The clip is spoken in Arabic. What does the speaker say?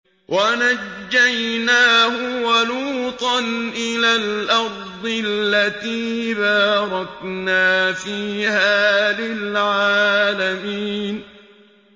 وَنَجَّيْنَاهُ وَلُوطًا إِلَى الْأَرْضِ الَّتِي بَارَكْنَا فِيهَا لِلْعَالَمِينَ